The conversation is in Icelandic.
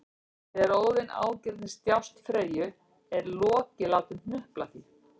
Þegar Óðinn ágirnist djásn Freyju er Loki látinn hnupla því